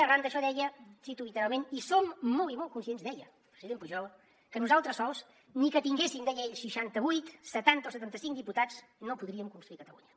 arran d’això deia cito literalment i som molt i molt conscients deia el president pujol que nosaltres sols ni que tinguéssim deia ell seixanta vuit setanta o setanta cinc diputats no podríem construir catalunya